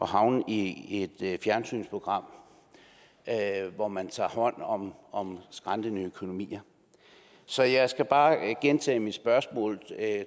havne i et fjernsynsprogram hvor man tager hånd om om skrantende økonomier så jeg skal bare gentage mit spørgsmål